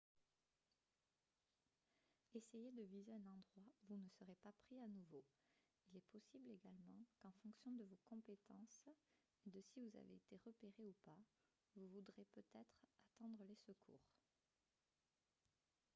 essayez de viser un endroit où vous ne serez pas pris à nouveau il est possible également qu'en fonction de vos compétences et de si vous avez été repéré ou pas vous voudrez peut-être attendre les secours